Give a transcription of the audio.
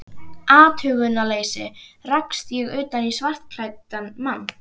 athugunarleysi rakst ég utan í skartklæddan mann.